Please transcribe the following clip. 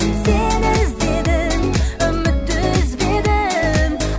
сені іздедім үмітті үзбедім